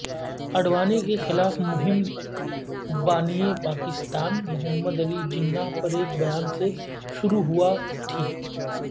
اڈوانی کےخلاف مہم بانی پاکستان محمد علی جناح پر ایک بیان سے شروع ہوا تھی